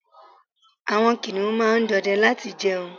àwọn kiniun ma n dọdẹ láti jẹun